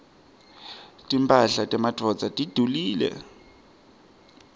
timphahla temadvodza tidulile